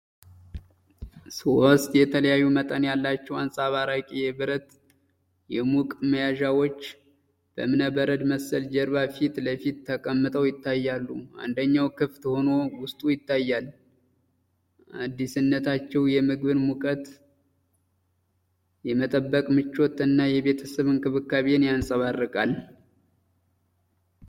ሦስት የተለያዩ መጠን ያላቸው አንጸባራቂ የብረት ሙቅ መያዣዎች በእብነበረድ መሰል ጀርባ ፊት ለፊት ተቀምጠው ይታያሉ። አንደኛው ክፍት ሆኖ ውስጡ ይታያል። አዲስነታቸው የምግብን ሙቀት የመጠበቅ ምቾት እና የቤተሰብ እንክብካቤን ያንጸባርቃል።